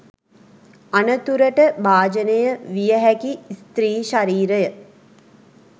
අනතුරට භාජනය විය හැකි ස්ත්‍රී ශරීරය